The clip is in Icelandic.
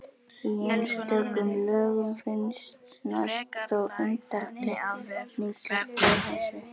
Í einstökum lögum finnast þó undantekningar frá þessu.